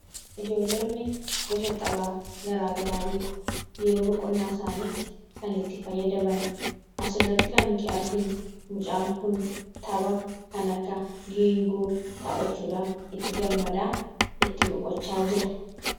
Ijoollonni gosa taphaa garaagaraa beeku. Yeroo boqonnaa isaaniitti kan itti fayyadaman asirratti kan arginu mucaan kun tapha kan akka geengoo taphachuudhaan itti gammada. Itti boqochaa jira.